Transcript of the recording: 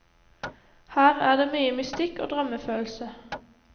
Her er det mye mystikk og drømmefølelse.